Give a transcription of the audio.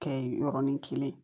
Kɛ ye yɔrɔnin kelen